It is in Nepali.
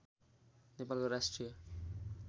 नेपालको राष्ट्रिय